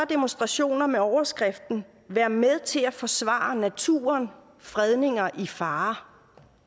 demonstrationer med overskriften vær med til at forsvare naturen fredninger i fare